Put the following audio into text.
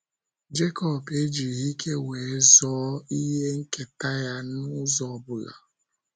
Jekọb ejighị ike wee zoo ihe nketa ya n’ụzọ ọ bụla.